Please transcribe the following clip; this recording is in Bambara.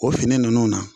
O fini ninnu na